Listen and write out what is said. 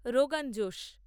rogan josh